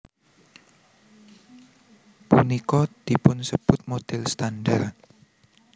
Punika dipunsebut model standar